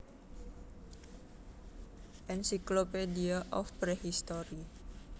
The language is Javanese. Encyclopedia of Prehistory